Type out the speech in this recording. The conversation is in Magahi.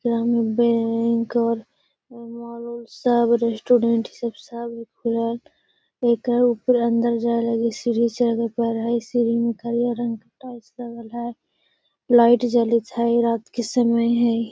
इहाँ पर बैंक और मॉल उल सब रेस्टोरेंट इ सब खुलल एकरा ऊपर अंदर जाए लगी सीढ़ी से टाइल्स लगल हई लाइट जरत हई रात के समय हई।